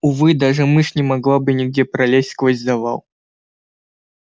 увы даже мышь не могла бы нигде пролезть сквозь завал